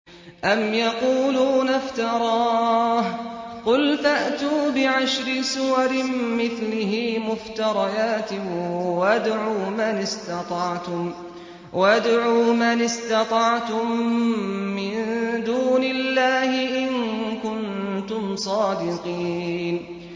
أَمْ يَقُولُونَ افْتَرَاهُ ۖ قُلْ فَأْتُوا بِعَشْرِ سُوَرٍ مِّثْلِهِ مُفْتَرَيَاتٍ وَادْعُوا مَنِ اسْتَطَعْتُم مِّن دُونِ اللَّهِ إِن كُنتُمْ صَادِقِينَ